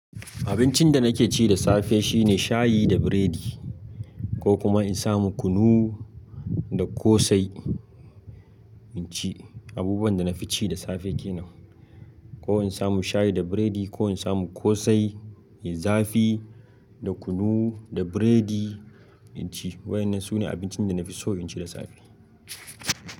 Abincin da nake ci da safe shine shayi da biredi ko kuma in samu kunu da kosai, naci. Abubuwan da na fi ci da safe kenan. Ko in samu shayi da biredi ko in samu kosai, zafi da kunu da biredi, inci. Waɗannan sune abincin da na fi so in ci da safe.